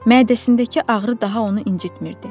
Mədəsindəki ağrı daha onu incitmirdi.